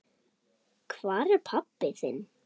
Hvar er pabbi þinn?